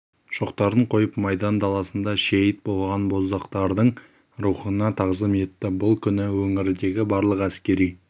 шоқтарын қойып майдан даласында шейіт болған боздақтардың рухына тағзым етті бұл күні өңірдегі барлық әскери